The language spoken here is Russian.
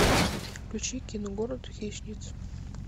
включи кино город хищниц